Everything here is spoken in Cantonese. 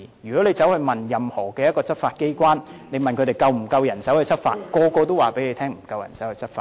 如果你問執法機關是否有足夠人手執法，每個執法機關都會告訴你沒有足夠人手執法。